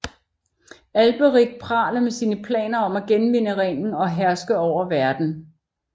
Alberich praler med sine planer om at genvinde ringen og herske over verden